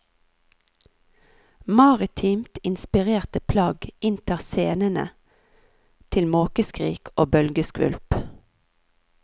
Maritimt inspirerte plagg inntar scenene til måkeskrik og bølgeskvulp.